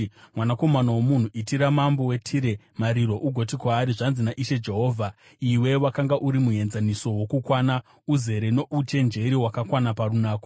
“Mwanakomana womunhu, chemera mambo weTire ugoti kwaari, ‘Zvanzi naIshe Jehovha: “ ‘Wakanga uri muenzaniso wokukwana, uzere nouchenjeri wakakwana parunako.